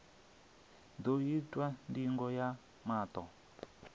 ḓo itwa ndingo ya maṱo